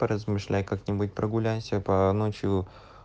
поразмышляй как-нибудь прогуляйся по ночью